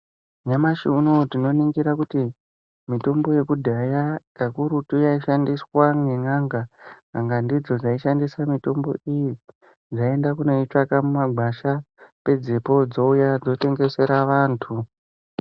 Nyamashi unowu tinoningira kuti mitombo yekudhaya kakurutu yaishandiswa nen'anga . N'anga ndidzo dzaishandisa mitombo iyi dzaienda kunoitsvaka mumagwasha pedzepo dzouya dzotengesera vantu.